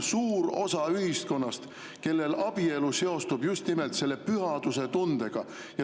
Suurel osal ühiskonnast seostub abielu just nimelt selle pühaduse tundega.